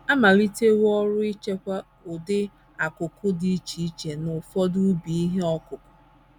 A malitewo ọrụ ichekwa ụdị akụ́kụ́ dị iche iche n’ụfọdụ ubi ihe ọkụkụ.